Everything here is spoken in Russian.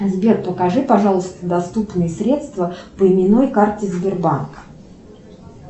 сбер покажи пожалуйста доступные средства по именной карте сбербанка